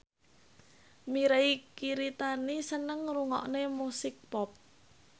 Mirei Kiritani seneng ngrungokne musik pop